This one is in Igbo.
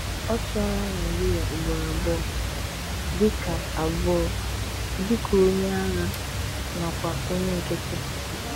Ọ chị̀àlà Nàịjíríà ugboro abụọ; dị́ka abụọ; dị́ka onye àgha nakwà onye nkịtị.